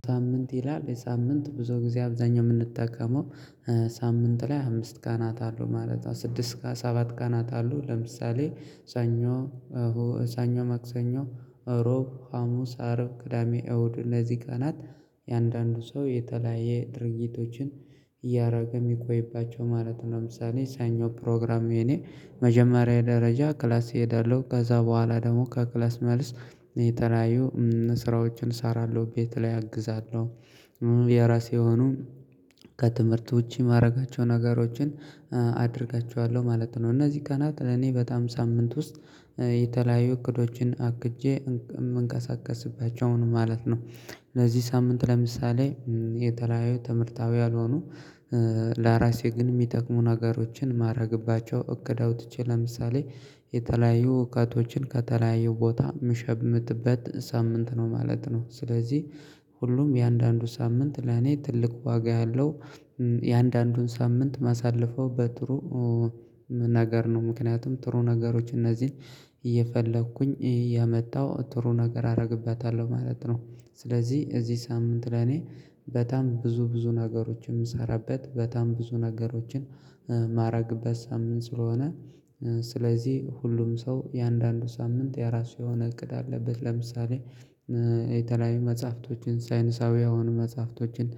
ሳምንት ይላል፣ የሳምንት ብዙ ጊዜ አብዛኛው የምንጠቀመው ሳምንት ላይ አምስት ቀናት አሉ ማለት ነው። ስድስት ቀናት ሰባት ቀናት አሉ። ለምሳሌ ሳኞ፣ ሰኞ፣ መክሰኞ፣ እሮብ፣ ሀሙስ፣ አረብ፣ ቅዳሜ፣ እሁድ፤ እነዚህ ቀናት የአንዳንዱ ሰው የተለያየ ድርጊቶችን እያደረገ የሚቆይባቸው ማለት ነው። ለምሳሌ ሰኞ ፕሮግራም የኔ መጀመሪያ ደረጃ ክላስ እሄዳለሁ። ከዛ በኋላ ደግሞ ከክላስ መልስ የተለያዩ ስራዎችን እሰራለሁ፣ ቤት ላይ አግዛለሁ። የራሴ የሆኑ ከትምህርት ውጪ ማደረጋቸው ነገሮችን አደርጋቸዋለሁ ማለት ነው። እነዚህ ቀናት እኔ በጣም ሳምንት ውስጥ የተለያዩ እቅዶችን አቅጄ የምንቀሳቀስባቸው ነው ማለት ነው። ለዚህ ሳምንት ለምሳሌ የተለያዩ ትምህርታዊ ያልሆኑ ለራሴ ግን የሚጠቅሙ ነገሮችን ማደረግባቸው እቅድ አውጥቼ ለምሳሌ የተለያዩ እውቀቶችን ከተለያዩ ቦታ ምሸምትበት ሳምንት ነው ማለት ነው። ስለዚህ ሁሉም እያንዳንዱ ሳምንት ለኔ ትልቅ ዋጋ ያለው እያንዳንዱን ሳምንት ማሳለፈው በጥሩ ነገር ነው። ምክንያቱም ጥሩ ነገሮች እነዚህን እየፈለኩኝ እያመጣው ጥሩ ነገር አደርግበታለሁ ማለት ነው። ስለዚህ እዚህ ሳምንት ለኔ በጣም ብዙ፣ ብዙ ነገሮችን የምሰራበት በጣም ብዙ ነገሮችን ማደረግበት ሳምንት ስለሆነ ስለዚህ ሁሉም ሰው የአንዳንዱ ሳምንት የራሱ የሆነ እቅድ አለበት። ለምሳሌ የተለያየ መጽሐፍቶችን ሳይንሳዊ የሆኑ መጽሐፍቶችን፣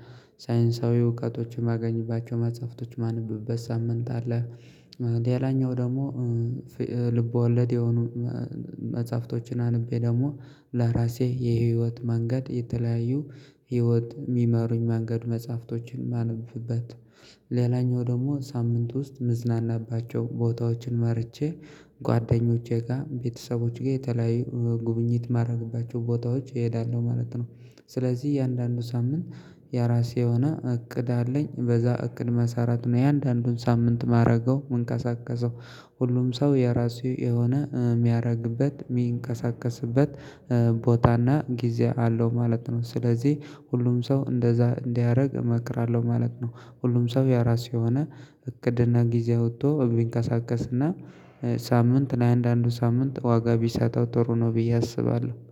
ሳይንሳዊ እውቀቶችን ማገኝባቸው መጽሐፍቶች ማነብበት ሳምንት አለ። ሌላኛው ደግሞ ልብ ወለድ የሆኑ መጽሐፍቶችን አንብቤ ደግሞ ለራሴ የህይወት መንገድ የተለያዩ ህይወት የሚመሩኝ መንገድ መጽሐፍቶችን ማነብበት ሌላኛው ደግሞ ሳምንት ውስጥ ምዝናናባቸው፣ ቦታዎችን ማርጬ ጓደኞቼ ጋር፣ ቤተሰቦቼ ጋር የተለያዩ ጉብኝት ማደረግባቸው ቦታዎች እሄዳለሁ ማለት ነው። ስለዚህ እያንዳንዱ ሳምንት የራሴ የሆነ እቅድ አለኝ። በዛ እቅድ መሰራት ነው የእያንዳንዱን ሳምንት ማደርገው፣ ምንቀሳቀሰው። ሁሉም ሰው የራሱ የሆነ የሚያደርግበት፣ የሚንቀሳቀስበት ቦታና ጊዜ አለው ማለት ነው። ስለዚህ ሁሉም ሰው እንደዛ እንዲያደርግ እመክራለሁ ማለት ነው። ሁሉም ሰው ያራስ የሆነ እቅድና ጊዜ አውጥቶ ቢንቀሳቀስና ሳምንት ላይ፣ አንዳንዱ ሳምንት ዋጋ ብሰጠው ጥሩ ነው ብዬ አስባለሁ።